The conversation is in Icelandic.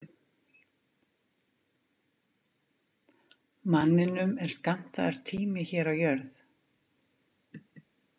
Manninum er skammtaður tími hér á jörð.